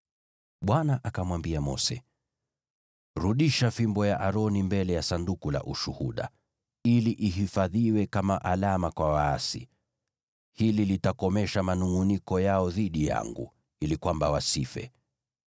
Bwana akamwambia Mose, “Rudisha fimbo ya Aroni mbele ya Sanduku la Ushuhuda, ili ihifadhiwe kama alama kwa waasi. Hili litakomesha manungʼuniko yao dhidi yangu, ili kwamba wasife.”